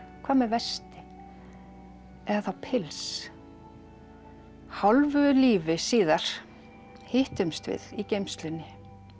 hvað með vesti eða þá pils hálfu lífi síðar hittumst við í geymslunni